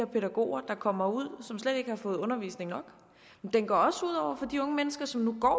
pædagoger der kommer ud og som slet ikke har fået undervisning nok den går også ud over de unge mennesker som nu går